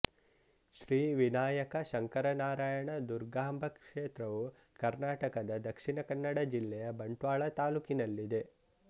ಶ್ರೀ ವಿನಾಯಕ ಶಂಕರನಾರಾಯಣ ದುರ್ಗಾಂಬ ಕ್ಷೇತ್ರವು ಕರ್ನಾಟಕದ ದಕ್ಷಿಣ ಕನ್ನಡ ಜಿಲ್ಲೆಯ ಬಂಟ್ವಾಳ ತಾಲೂಕಿನಲ್ಲಿದೆ